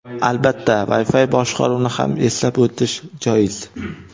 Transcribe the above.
Albatta, Wi-Fi boshqaruvni ham eslab o‘tish joiz.